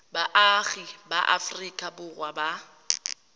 baagi ba aforika borwa ba